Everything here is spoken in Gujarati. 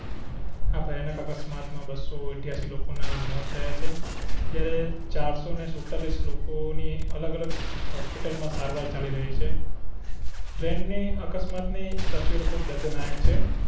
આ ભયાનક અકસ્માત માં બસો ઇઠ્યાશી લોકો ના મોત થયા છે જ્યારે ચારસો ને સુડતાળીસ લોકો ની અલગ અલગ હોસ્પિટલ માં સારવાર ચાલી રહી છે ટ્રેન ની અકસ્માત ની તસવીરો ખૂબ દર્દ નાયક છે